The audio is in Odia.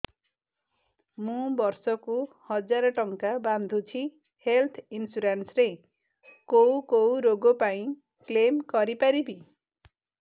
ମୁଁ ବର୍ଷ କୁ ହଜାର ଟଙ୍କା ବାନ୍ଧୁଛି ହେଲ୍ଥ ଇନ୍ସୁରାନ୍ସ ରେ କୋଉ କୋଉ ରୋଗ ପାଇଁ କ୍ଳେମ କରିପାରିବି